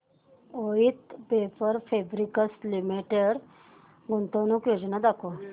Voith paper fabrics limited गुंतवणूक योजना दाखव